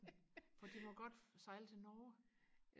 for de må godt sejle til Norge